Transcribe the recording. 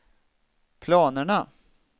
planerna